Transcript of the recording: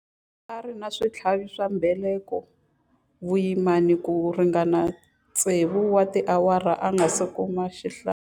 A ri na switlhavi swa mbeleko vuyimani ku ringana tsevu wa tiawara a nga si kuma xihlangi.